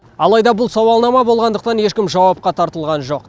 алайда бұл сауалнама болғандықтан ешкім жауапқа тартылған жоқ